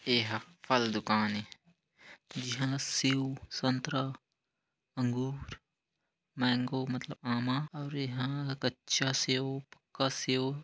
एहा फल दुकान ए जिहा सेव संतरा अँगूर मैंगो मतलब आमा अउ एहा कच्चा सेव पक्का सेव--